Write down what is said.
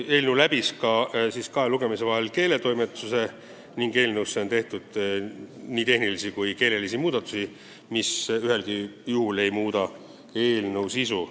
Eelnõu läbis kahe lugemise vahel keeletoimetuse ning selles on tehtud nii tehnilisi kui keelelisi muudatusi, mis ühelgi juhul ei muuda eelnõu sisu.